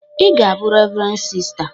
"Ị ga-abụ Rev. Sista"